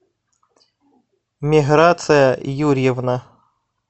миграция юрьевна